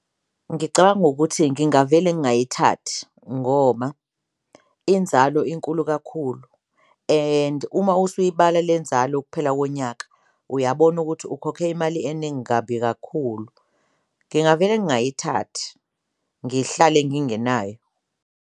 Ngicabanga ukuthi ngingavele ngayithathi ngoma inzalo inkulu kakhulu and uma usuyibala le nzalo ukuphela konyaka uyabona ukuthi ukhokhe imali eningi kabi kakhulu, ngingavele ngayithathi ngihlale ngingenayo.